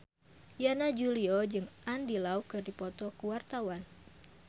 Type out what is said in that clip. Yana Julio jeung Andy Lau keur dipoto ku wartawan